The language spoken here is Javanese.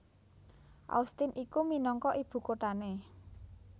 Austin iku minangka ibukuthané